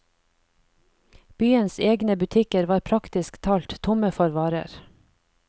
Byens egne butikker var praktisk talt tomme for varer.